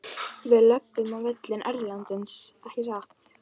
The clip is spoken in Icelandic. Við löbbum á völlinn erlendis ekki satt?